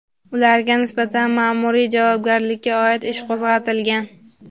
ularga nisbatan ma’muriy javobgarlikka oid ish qo‘zg‘atilgan.